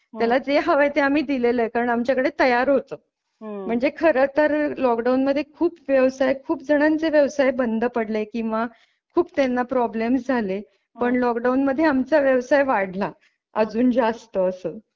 त्याला जे हवय ते आम्ही दिलेले कारण आमच्याकडे तयार होत म्हणजे खरे तर लॉकडाउन मध्ये खूप व्यवसाय खूप जणांचे व्यवसाय बंद पडले किंवा खूप त्यांना प्रॉब्लेम झाले पण लॉकडाऊन मध्ये आमचा व्यवसाय वाढला अजून जास्त असं.